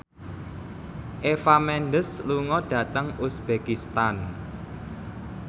Eva Mendes lunga dhateng uzbekistan